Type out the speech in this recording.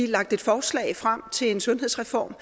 lagt et forslag frem til en sundhedsreform